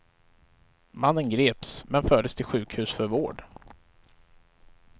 Mannen greps, men fördes till sjukhus för vård.